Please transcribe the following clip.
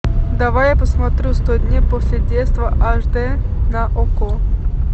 давай я посмотрю сто дней после детства аш дэ на окко